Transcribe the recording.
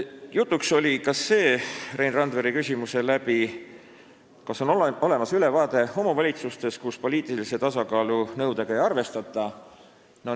Jutuks tuli Rein Randveri küsimuse tõttu ka see, kas on olemas ülevaade, millistes omavalitsustes poliitilise tasakaalu nõudega ei arvestata.